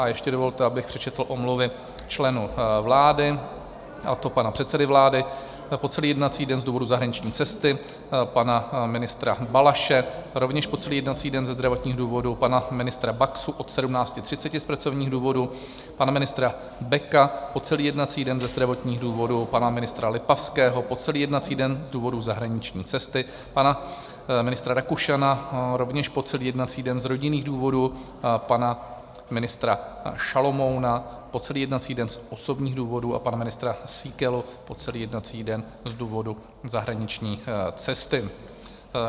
A ještě dovolte, abych přečetl omluvy členů vlády, a to pana předsedy vlády po celý jednací den z důvodu zahraniční cesty, pana ministra Balaše rovněž po celý jednací den ze zdravotních důvodů, pana ministra Baxy od 17.30 z pracovních důvodů, pana ministra Beka po celý jednací den ze zdravotních důvodů, pana ministra Lipavského po celý jednací den z důvodu zahraniční cesty, pana ministra Rakušana rovněž po celý jednací den z rodinných důvodů, pana ministra Šalomouna po celý jednací den z osobních důvodů a pana ministra Síkely po celý jednací den z důvodu zahraniční cesty.